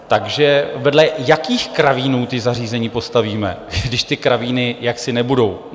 Takže vedle jakých kravínů ta zařízení postavíme, když ty kravíny jaksi nebudou?